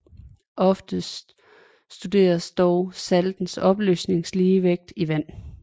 Oftest studeres dog saltes opløselighedsligevægte i vand